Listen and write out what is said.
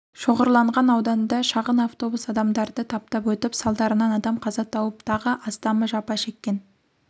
шоғырланған ауданында шағын автобус адамдарды таптап өтіп салдарынан адам қаза тауып тағы астамы жапа шеккен